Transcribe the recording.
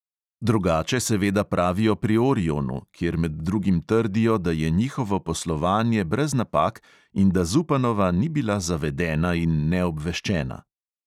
Drugače seveda pravijo pri orionu, kjer med drugim trdijo, da je njihovo poslovanje brez napak in da zupanova ni bila zavedena in neobveščena.